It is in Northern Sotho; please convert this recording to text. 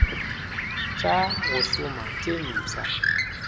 tša go šoma tše mpšha